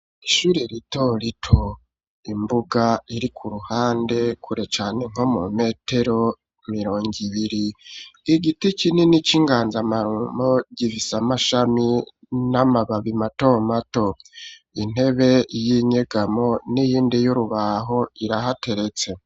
Ishure ritorito, imbuga iri ku ruhande kure cane nko mu metero mirongo ibiri, igiti kinini c'inganzamarumbo gifise amashami n'amababi mato mato, intebe y'inyegamo n'iyindi y'urubaho irahateretse.